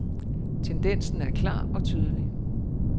Tendensen er klar og tydelig.